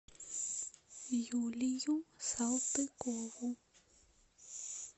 юлию салтыкову